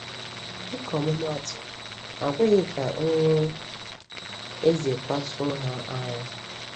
“Dịka ọmụmaatụ, ha ekweghị ka nri eze kpasuo ha ara.”